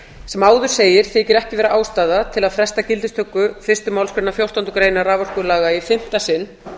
sem áður gerir þykir ekki vera ástæða til að fresta gildistöku fyrstu málsgrein fjórtándu greinar raforkulaga í fimmta sinn